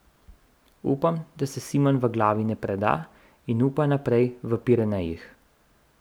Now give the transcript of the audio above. Upam, da se Simon v glavi ne preda in upa naprej v Pirenejih.